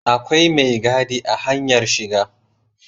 Akwai mai gadi a hanyar shiga